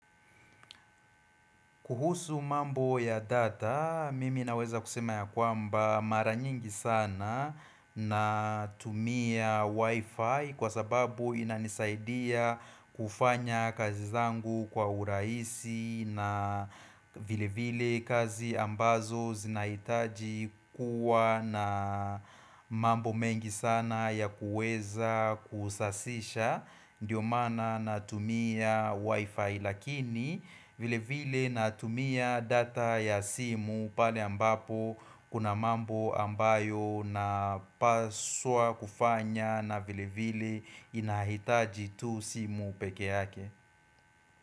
Kuhusu mambo ya data, mimi naweza kusema ya kwamba mara nyingi sana natumia wifi kwa sababu inanisaidia kufanya kazi zangu kwa urahisi na vilevile kazi ambazo zinahitaji kuwa na mambo mengi sana ya kuweza kusasisha ndio maana natumia wifi. Lakini vilevile natumia data ya simu pale ambapo kuna mambo ambayo napaswa kufanya na vilevile inahitaji tu simu peke yake.